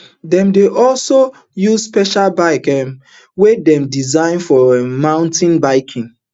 dem dey also use special bicycles um wey dem design for um mountain biking